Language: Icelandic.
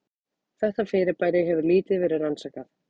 Þetta fyrirbæri hefur lítið verið rannsakað.